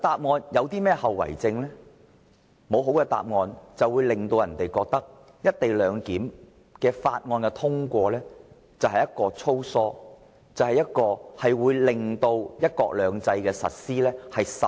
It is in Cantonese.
沒有具說服力的答案，便會讓人覺得《條例草案》粗疏，通過後會損害"一國兩制"的實施。